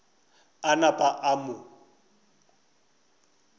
a napa a mo fa